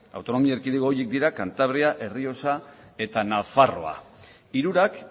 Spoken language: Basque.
autonomi erkidego horiek dira cantabria errioxa eta nafarroa hirurak